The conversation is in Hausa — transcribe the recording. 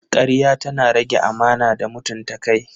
Karya tana rage amana da mutunta kai.